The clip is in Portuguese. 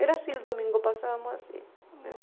Era assim, o domingo passávamos assim.